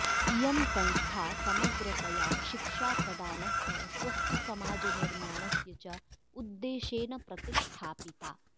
इयं संस्था समग्रतया शिक्षाप्रदानस्य स्वस्थसमाजनिर्माणस्य च उद्देशेन प्रतिष्ठापिता